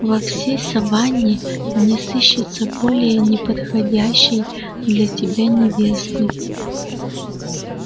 во всей саванне не сыщется более неподходящей для тебя невесты